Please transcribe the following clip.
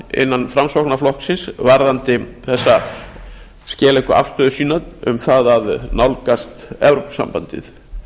innan framsóknarflokksins varðandi þessa skeleggu afstöðu sína um það að nálgast evrópusambandið